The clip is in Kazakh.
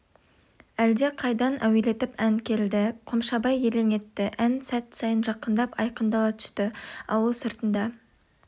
әлде қайдан әуелетіп ән келді қомшабай елең етті ән сәт сайын жақындап айқындала түсті ауыл сыртында